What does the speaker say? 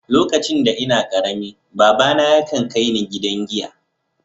Lokacin da n'na karemi, baba na ya kan kai ni gidan giya.